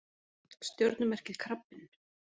Stjörnumerkið krabbinn.